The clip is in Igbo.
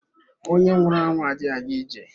Onye nwụrụ anwụ adịghị aga ije.